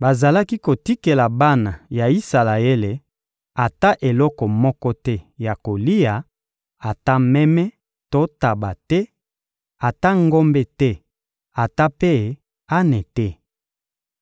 Bazalaki kotikela bana ya Isalaele ata eloko moko te ya kolia, ata meme to ntaba te, ata ngombe te, ata mpe ane te.